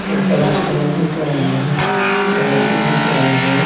ऊपर आसमान दिख रहा हैं धरती दिख रहा हैं।